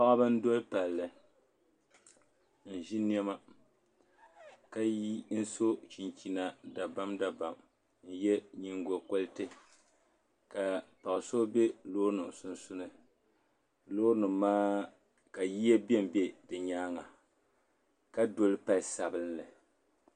Paɣba n doli palli n ʒi niɛma ka so chinchina dabam dabam n yɛ nyingokoriti ka paɣa so bɛ loori nim sunsuuni loori nim maa ka yiya bɛnbɛ di nyaanga ka doli pali sabinli